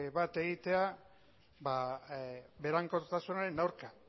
bat egitea berankortasunaren aurka